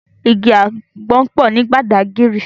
Igi ágbòn pò ni Bàdágìrí